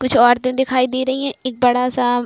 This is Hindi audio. कुछ औरतें दिखाई दे रही हैं | एक बड़ा सा--